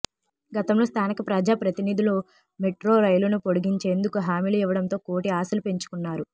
గతంలో స్థానిక ప్రజా ప్రతినిధులు మెట్రో రైలును పొడిగించేందుకు హామీలు ఇవ్వడంతో కోటి ఆశలు పెంచుకున్నారు